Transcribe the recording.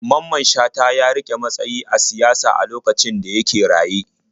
Mamman Shata ya riƙe matsayi a siyasa a lokacin da yake raye.